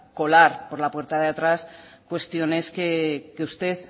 colar por la puerta de atrás cuestiones que usted